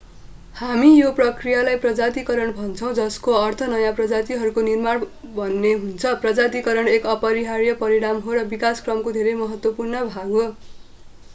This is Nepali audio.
हामी यो प्रक्रियालाई प्रजातीकरण भन्छौँ जसको अर्थ नयाँ प्रजातिहरूको निर्माण भन्ने हुन्छ प्रजातीकरण एक अपरिहार्य परिणाम हो र विकासक्रमको धेरै महत्त्वपूर्ण भाग हो